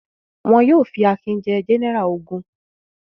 Wọn yóò fi Akin jẹ gẹ́nẹrà ogun.